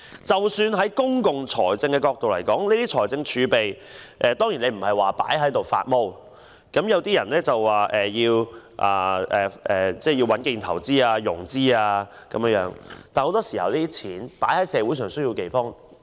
在公共財政角度來看，財政儲備當然不應被閒置，有些人說要穩建投資及融資，但很多時候，公帑應該用在社會上有需要的地方。